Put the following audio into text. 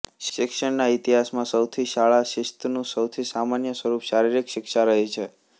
શિક્ષણના ઇતિહાસમાં સૌથી શાળા શિસ્તનુ સૌથી સામાન્ય સ્વરૂપ શારિરીક શિક્ષા રહી છે